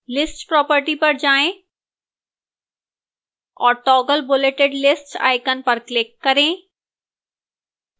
lists property पर जाएं और toggle bulleted list icon पर click करें